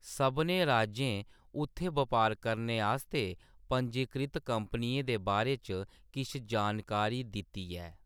सभनें राज्यें उत्थै बपार करने आस्तै पंजीकृत कंपनियें दे बारे च किश जानकारी दित्ती ऐ।